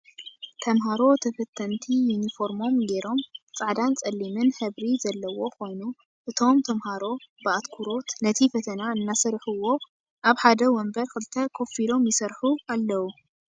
ተምሃሮ ተፈተንቲ ዩኒፎርሞም ጌሮም ፃዕዳን ፀሊም ሕብሪ ዘለዎ ኮይኑ እቶም ተምሃሮ ብኣትኩሮት ነቲ ፈተና እናሰርሕዎ ኣብ ሓደ ወንበር ክልተ ኮፍ ኢሎም ይሰርሑ ኣለዉ።